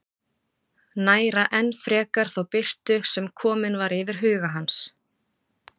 Næra enn frekar þá birtu sem komin var yfir huga hans.